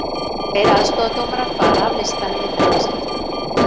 Tveir aðstoðardómarar fara af listanum í þetta skiptið.